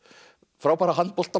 frábæra